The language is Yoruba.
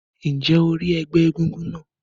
Ǹjẹ́ o rí ẹgbẹ́ egúngún náà?